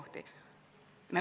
Hea Enn!